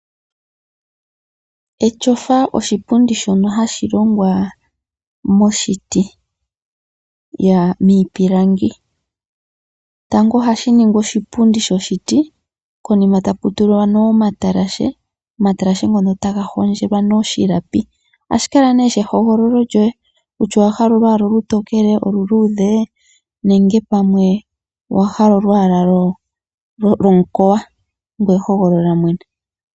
Etyofa oshipundi shono hashi longwa moshiti ano miipilangi, tango ohashi ningwa oshipundi shoshiti konima takutulwa nee omatashe omatalashe ngono taga hondjelwa nee oshilapi .Ohashi kala nee ehogololo lyoye kutya owahala olwaala olutokele, olu luudhe, nenge pamwe owahala olwaala lwomukoya.